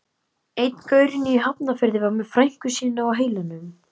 Einn gaurinn í Hafnarfirði var með frænku sína á heilanum.